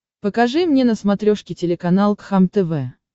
покажи мне на смотрешке телеканал кхлм тв